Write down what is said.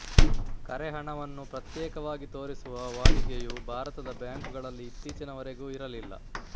ಕರೆಹಣವನ್ನು ಪ್ರತ್ಯೇಕವಾಗಿ ತೋರಿಸುವ ವಾಡಿಕೆಯೂ ಭಾರತದ ಬ್ಯಾಂಕುಗಳಲ್ಲಿ ಇತ್ತೀಚಿನವರೆಗೂ ಇರಲಿಲ್ಲ